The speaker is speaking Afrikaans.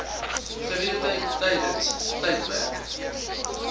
gereedheid tydens tydperke